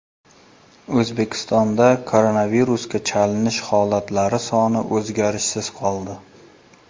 O‘zbekistonda koronavirusga chalinish holatlari soni o‘zgarishsiz qoldi.